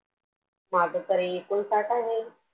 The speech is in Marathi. माझं तर एकोणसाठ आहे